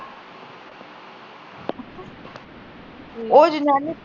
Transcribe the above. ਉਹ ਜਨਾਨੀ